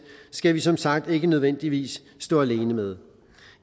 skal vi som sagt ikke nødvendigvis stå alene med